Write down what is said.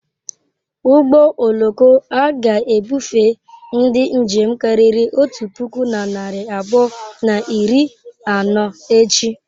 Ụgbọ oloko a ga-ebufe ndi njem karịrị otu puku na narị abụọ na iri anọ echi.